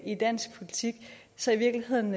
i dansk politik så i virkeligheden